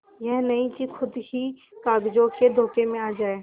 यह नहीं कि खुद ही कागजों के धोखे में आ जाए